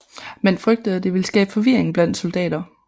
Man frygtede at det ville skabe forvirring blandt soldater